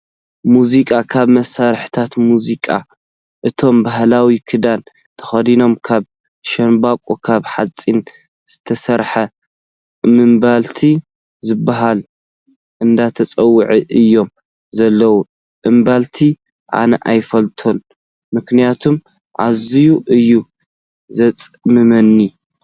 ሙዚቃ፦ ካብ መሳሪሒታት ሚዚቃ እቶም ባህላዊ ክዳን ተከዲኖም ካብ ሻንቦቆን ካብ ሓፂን ዝተሰረሐ እምብልታ ዝበሃል እንዳተፃወቲ እዮም ዘለው። እምልታ ኣነ ኣይፈቱን ምክንያቱ እዝየይ እዩ ዘፅምመኒ።